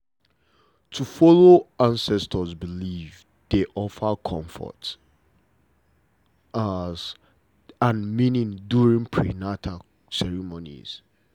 to follow ancestors beliefs dey offer comfort and meaning during prenata ceremonies